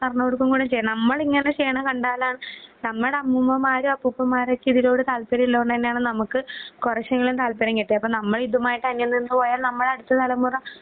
പറഞ്ഞുകൊടുക്കേം കൂടി ചെയ്യാം. നമ്മളിങ്ങനെ ചെയ്യണ കണ്ടാലാ ഹ് നമ്മുടെ അമ്മുമ്മാരൊ അപ്പൂപ്പന്മാരൊക്കെ ഇതിനോട് താല്പര്യയുള്ളോണ്ട് തന്നെയാണ് നമുക്ക് കുറേശ്ശെയെങ്കിലും താല്പര്യം കിട്ടിയെ അപ്പം നമ്മ ഇതുമായിട്ട് അന്യം നിന്നുപോയാൽ അടുത്തതലമുറ